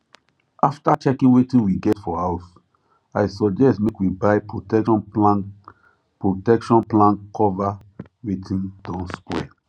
after checking wetin we get for house i suggest make we buy protection plan protection plan cover wetin don spoil